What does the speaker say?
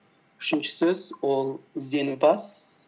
үшінші сөз ол ізденімпаз